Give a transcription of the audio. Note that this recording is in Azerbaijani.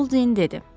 Bouldin dedi.